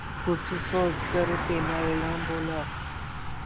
कुछ सोचकर तेनालीराम बोला